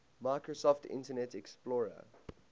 microsoft internet explorer